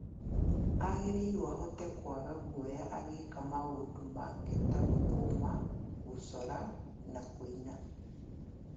Agĩrĩirwo ahote kwaga guoya agĩka maũndũ make ta gũthoma gũcora na kũina